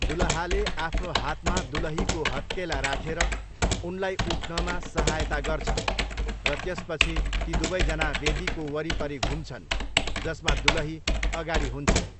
दुलहाले आफ्नो हातमा दुलहीको हत्केला राखेर उनलाई उठ्नमा सहायता गर्छन् र त्यसपछि ती दुवैजना वेदीको वरिपरि घुम्छन्, जसमा दुलही अगाडि हुन्छिन्।